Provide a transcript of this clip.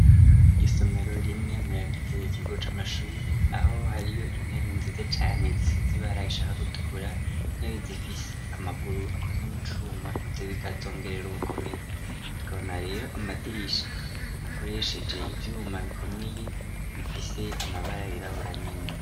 Isomero rimwe muyagize ikigo c'amashuri, aho hariyo intebe nziza cane zisize ibara rishaka gutukura, intebe zifise amaguru akozwe mu cuma ivyo bikazongerera ubukomezi . Tukabona rero amadirisha akoresheje ivyuma bikomeye bifise amabara yirabura nyene.